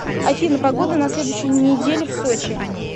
афина погода на следующую неделю в сочи